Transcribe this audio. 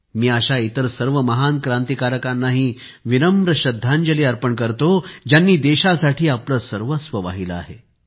मी अशा इतर सर्व महान क्रांतिकारकांना विनम्र श्रद्धांजली अर्पण करतो ज्यांनी देशासाठी आपले सर्वस्व वाहिले आहे